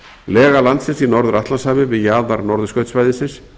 lega landsins í norður atlantshafi við jaðar norðurskautssvæðisins